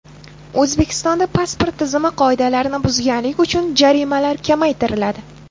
O‘zbekistonda pasport tizimi qoidalarini buzganlik uchun jarimalar kamaytiriladi.